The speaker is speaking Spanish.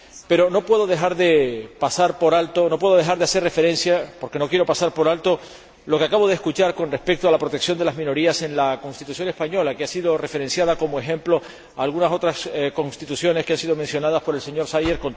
Pero no puedo dejar de hacer referencia —porque no quiero pasarlo por alto— a lo que acabo de escuchar con respecto a la protección de las minorías en la Constitución española, que ha sido referenciada como ejemplo frente a algunas otras Constituciones que han sido mencionadas por el señor Szájer.